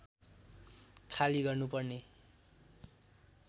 खाली गर्नुपर्ने